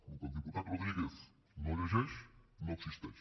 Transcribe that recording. el que el diputat rodríguez no llegeix no existeix